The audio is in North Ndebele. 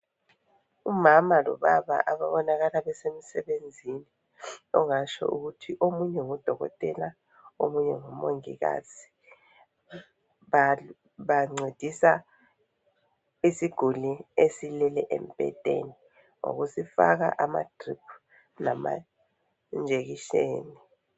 Umama lobaba ababonakala besemsebenzini, ongatsho ukuthi omunye ngudokotela omunye ngumongikazi. Bancedisa isiguli esilele embhedeni, ngokusifaka ama drip lama injection.